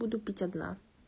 буду пить одна